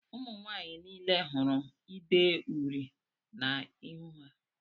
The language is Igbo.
Ụmụnwanyị niile hụrụ ide uri na -ihu ha.